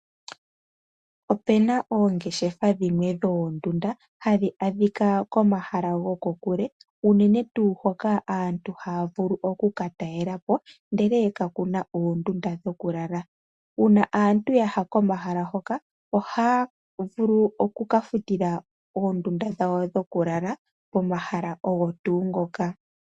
Opuna oongeshefa dhimwe dhoondunda hadhi adhika komahala goko kule unene tuu hoka aantu haya vulu okuka talela po ndele kakuna oondunda dhoku lala. Uuna aantu ya ya komahala hoka ,ohaya vulu oku ka futila oondunda dhawo dhoku lala komahala ogo tuu ngoka.